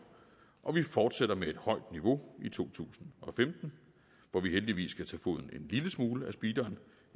og vi fortsætter med et højt niveau i to tusind og femten hvor vi heldigvis kan tage foden en lille smule af speederen